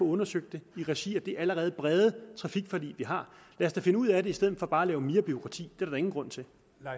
undersøgt i regi af det allerede brede trafikforlig vi har lad os da finde ud af det i stedet for bare at lave mere bureaukrati det der ingen grund til